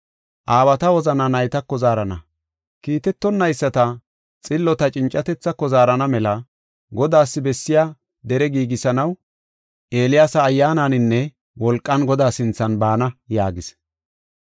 Aawata wozana naytako zaarana, kiitetonayisata xillota cincatethaako zaarana mela, Godaas bessiya dere giigisanaw Eeliyaasa ayyaananinne wolqan Godaa sinthan baana” yaagis.